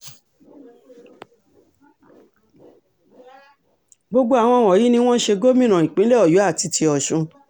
gbogbo àwọn wọ̀nyí ni wọ́n ṣe gómìnà ìpínlẹ̀ ọ̀yọ́ àti ti ọ̀sùn